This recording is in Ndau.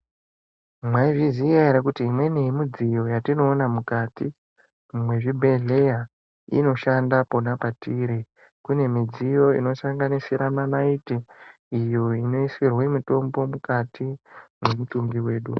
Mwaizviziya ere kuti imweni yemidziyo yatinoona mukati mwezvibhedhleya inoshanda pona patiri, kune midziyo inosanganisira manaiti iyo inoisirwe mitombo mukati mwemutumbi wedu.